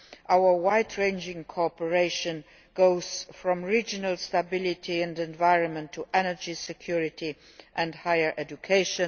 Our wide ranging cooperation goes from regional stability and the environment to energy security and higher education.